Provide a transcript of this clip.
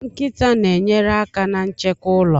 Nkịta na-enyere aka na nchekwa ụlọ